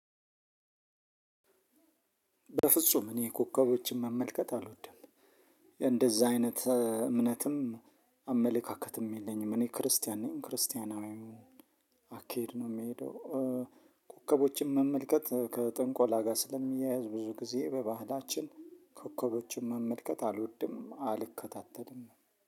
በፍጹም እኔ ኮከቦችን መመልከት አልወድም። እንደዚህ አይነት እምነትም አመለካከትም የለኝም። እኔ ክርስቲያን ነኝ ክርስቲያናዊው አካሄድ ነው የምሄደው። ኮከቦችን መመልከት ከጥንቆላ ጋር ስለሚያያዝ ብዙ ጊዜ በባህላችን ኮከቦችን መመልከት አልወድም አልከታተልም